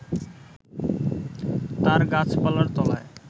তার গাছপালার তলায়